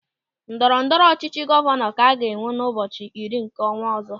Ndọrọ ọchịchị gọvanọ ka a ga-enwe n'ụbọchị iri nke ọnwa ọzọ.